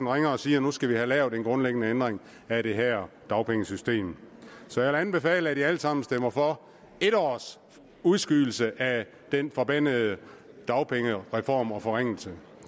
ringer og siger at nu skal vi have lavet en grundlæggende ændring af det her dagpengesystem så jeg vil anbefale at vi alle sammen stemmer for en års udskydelse af den forbandede dagpengereform og forringelse